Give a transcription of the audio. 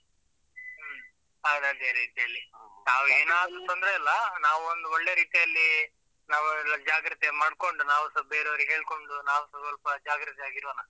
ಹ್ಮ್. ಅವರದ್ದೇ ರೀತಿಯಲ್ಲಿ. ನಾವು ಏನಾದ್ರು ತೊಂದ್ರೆ ಇಲ್ಲ, ನಾವು ಒಂದು ಒಳ್ಳೆ ರೀತಿಯಲ್ಲಿ ನಾವೆಲ್ಲ ಜಾಗ್ರತೆ ಮಾಡ್ಕೊಂಡು ನಾವುಸ ಬೇರೆಯವರಿಗೆ ಹೇಳ್ಕೊಂಡು, ನಾವುಸ ಸ್ವಲ್ಪ ಜಾಗ್ರತೆಯಾಗಿ ಇರೋಣ